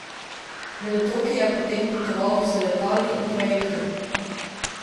Med otoki je potem potoval z letali in trajektom.